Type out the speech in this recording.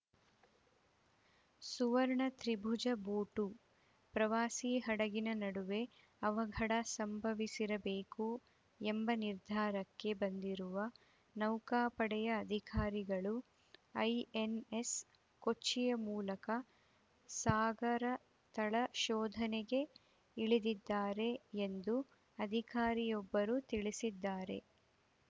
ಸುವರ್ಣ Tribhuja boat ಪ್ರವಾಸಿ ಹಡಗಿನ ನಡುವೆ ಅವಘಡ ಸಂಭವಿಸಿರಬೇಕು ಎಂಬ ನಿರ್ಧಾರಕ್ಕೆ ಬಂದಿರುವ ನೌಕಾಪಡೆಯ ಅಧಿಕಾರಿಗಳು ಐಎನ್‌ಎಸ್‌ ಕೊಚ್ಚಿಯ ಮೂಲಕ ಸಾಗರತಳ ಶೋಧನೆಗೆ ಇಳಿದಿದ್ದಾರೆ ಎಂದು ಅಧಿಕಾರಿಯೊಬ್ಬರು ತಿಳಿಸಿದ್ದಾರೆ